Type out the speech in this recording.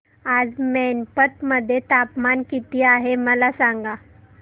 आज मैनपत मध्ये तापमान किती आहे मला सांगा